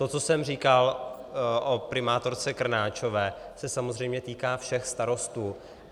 To, co jsem říkal o primátorce Krnáčové, se samozřejmě týká všech starostů.